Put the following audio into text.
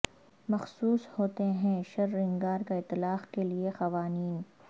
مخصوص ہوتے ہیں شررنگار کا اطلاق کے لئے قوانین